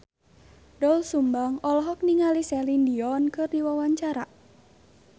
Doel Sumbang olohok ningali Celine Dion keur diwawancara